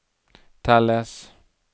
telles